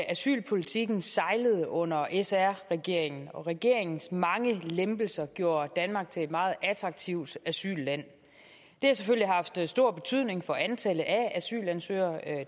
asylpolitikken sejlede under sr regeringen og at regeringens mange lempelser gjorde danmark til et meget attraktivt asylland det har selvfølgelig haft stor betydning for antallet af asylansøgere